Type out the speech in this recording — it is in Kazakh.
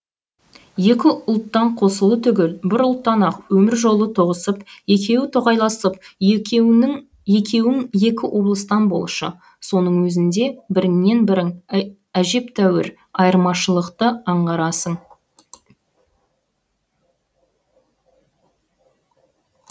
екі ұлттан қосылу түгіл бір ұлттан ақ өмір жолы тоғысып екеуі тоқайласып екеуің екі облыстан болшы соның өзінде біріңнен бірің әжептәуір айырмашылықты аңғарасың